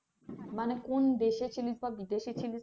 মানে কোন দেশে ছিলিস বা বিদেশে ছিলিস।